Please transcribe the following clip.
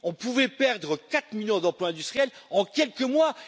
On pouvait perdre quatre millions d'emplois industriels en quelques mois.